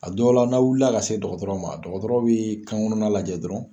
A dɔw la, n'a wili la ka se dɔgɔtɔrɔ ma , dɔgɔtɔrɔ bi kan kɔnɔnna lajɛ dɔrɔnw.